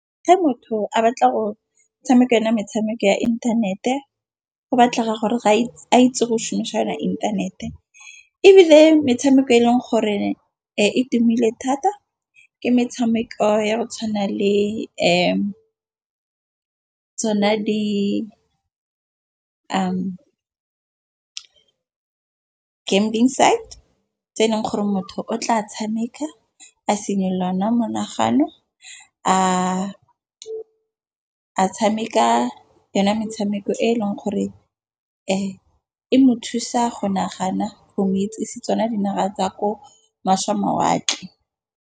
Ge motho a batla go tshameka ena metshameko ya inthanete. Go batlega gore ga ke itse go shomisa yona inthanete, ebile metshameko e leng gore e tumile thata ke metshameko ya go tshwana le tsona di-gambling side tse eleng gore motho o tla tshameka, a monagano a tshameka yona metshameko e leng gore e mo thusa go nagana go metsi setswana dinaga tsa ko mašwe mawatle.